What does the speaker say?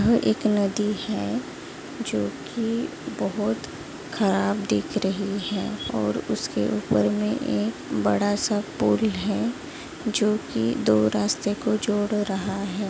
यह एक नदी है जो की बहुत खराब दिख रही हैं और उसके ऊपर मे एक बड़ा सा पुल हैं जो की दो रास्ते को जोड़ रहा हैं।